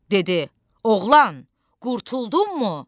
Dedi: Oğlan, qurtuldunmu?